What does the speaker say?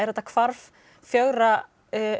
þetta hvarf fjögurra